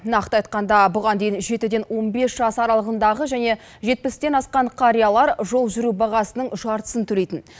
нақты айтқанда бұған дейін жетіден он бес жас аралығындағы және жетпістен асқан қариялар жол жүру бағасының жартысын төлейтін